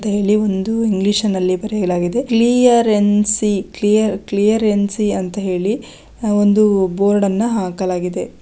ಇದರಲ್ಲಿ ಒಂದು ಇಂಗ್ಲಿಷ್ನಲ್ಲಿ ಬರೆಯಲಾಗಿದೆ ಕ್ವೀರೆನ್ಸಿ ಕ್ಲೇಯರೆನ್ಸಿ ಅಂತ ಹೇಳಿ ಒಂದು ಬೋರ್ಡ್ ಅನ್ನು ಹಾಕಲಾಗಿದೆ.